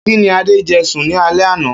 Kíni Adé je̩ sùn ní alé̩ àná?